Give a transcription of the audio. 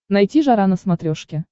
найти жара на смотрешке